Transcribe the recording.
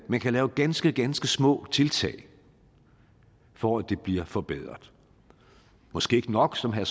man kan lave ganske ganske små tiltag for at det bliver forbedret måske ikke nok som herre